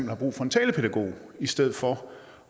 har brug for en talepædagog i stedet for